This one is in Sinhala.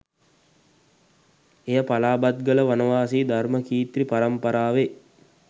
එය පලාබත්ගල වනවාසී ධර්ම කීර්ති පරම්පරාවේ